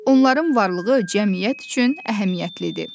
Onların varlığı cəmiyyət üçün əhəmiyyətlidir.